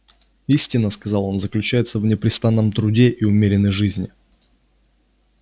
истина сказал он заключается в непрестанном труде и умеренной жизни